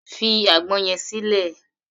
Fi àgbọn yẹn sílẹ̀!